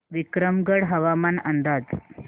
विक्रमगड हवामान अंदाज